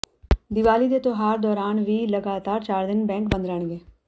ਦੀਵਾਲੀ ਦੇ ਤਿਉਹਾਰ ਦੌਰਾਨ ਵੀ ਲਗਾਤਾਰ ਚਾਰ ਦਿਨ ਬੈਂਕ ਬੰਦ ਰਹਿਣਗੇ